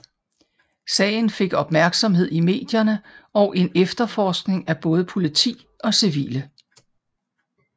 Sagen fik opmærksomhed i medierne og en efterforskning af både politi og civile